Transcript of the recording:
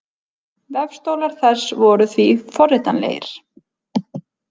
Vefstólar þessi voru því forritanlegir.